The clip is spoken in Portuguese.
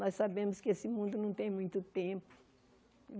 Nós sabemos que esse mundo não tem muito tempo.